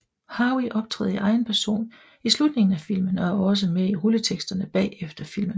Harvey optræder i egen person i slutningen af filmen og er også med i rulleteksterne bagefter filmen